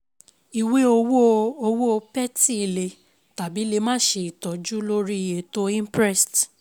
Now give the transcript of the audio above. Ìwé Owó Owó Petty le tàbí lè má ṣe Ìtọ́jú lórí 'Ètò Imprest'